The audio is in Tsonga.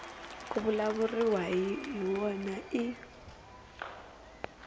ku vulavuriwaka hi wona i